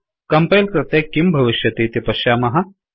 compile कृते किं भविष्यतीति पश्यामः